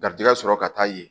Garijɛgɛ sɔrɔ ka taa yen